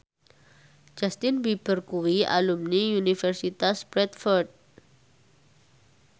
Justin Beiber kuwi alumni Universitas Bradford